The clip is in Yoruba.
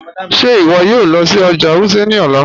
Ṣẹ iwọ yòò lọ sí ọjà Wuse ni ọlá?